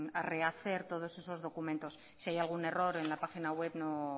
a rehacer todos esos documentos si hay algún error en la página web no